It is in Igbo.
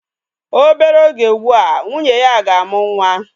Obere oge ugbu a, nwunye ya ga-amụ nwa.